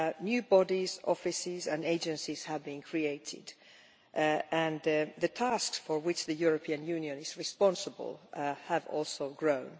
New bodies, offices and agencies have been created and the tasks for which the European Union is responsible have also grown.